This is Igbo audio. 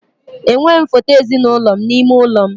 Enweghị m foto ezinụlọ m n'ime ime ụlọ m.